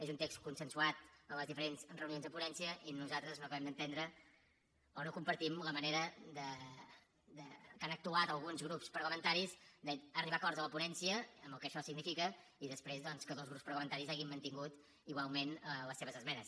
és un text consensuat en les diferents reunions de ponència i nosaltres no acabem d’entendre o no compartim la manera en què han actuat alguns grups parlamentaris d’arribar a acords a la ponència amb el que això significa i després doncs que dos grups parlamentaris hagin mantingut igualment les seves esmenes